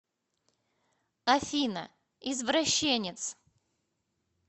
афина извращенец